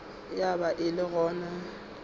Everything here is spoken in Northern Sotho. ya ba e le gona